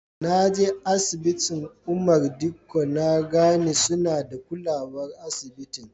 Na je asibitin Umar Dikko na gane suna da kulawar asibitin.